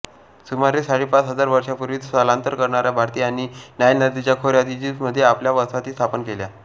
सुमारे साडेपाच हजार वर्षांपूर्वी स्थलांतर करणाया भारतीयांनी नाईल नदीच्या खोयात इजिप्तमध्ये आपल्या वसाहती स्थापन केल्या